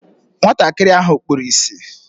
Nwatakịrị ahụ kpuru ịsị